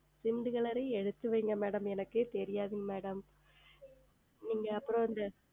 Ciment Color உம் எடுத்து வையுங்கள் Madam எனக்கே தெரியாது Madam நீங்கள் அப்புறம்